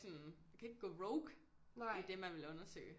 Sådan man kan ikke gå rogue i det man vil undersøge